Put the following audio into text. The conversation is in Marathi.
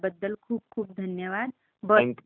धन्यवाद तुम्ही मला कॉल केल्याबद्दल..